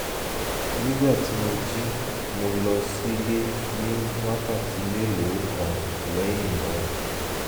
nígbà tí mo jí mo lọ sílé ní wákàtí mélòó kan lẹ́yìn náà